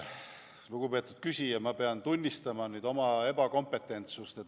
Lugupeetud küsija, ma pean nüüd tunnistama oma ebakompetentsust.